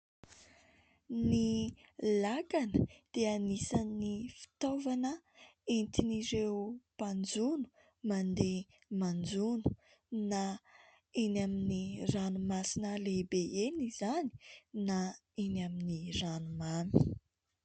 Ny lakana dia anisan'ny fitaovana entin'ireo mpanjono mandeha manjono, na eny amin'ny ranomasina lehibe eny izany na eny amin'ny ranomamy.